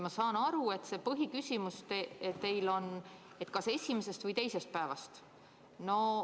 Ma saan aru, et see põhiküsimus teil on, kas esimesest või teisest päevast.